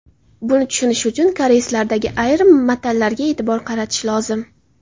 Buni tushunish uchun koreyslardagi ayrim matallarga e’tibor qaratish lozim.